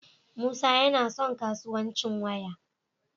Musa yana son kasuwanci waya